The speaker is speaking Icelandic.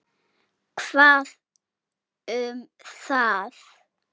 Hvað um það!